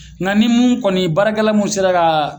N ka ni mun kɔni baarakɛla mun sera ka